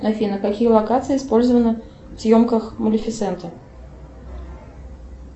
афина какие локации использованы в съемках малефисенты